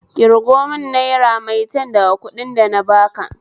Ƙirgo mun naira maitan daga kuɗin dana baka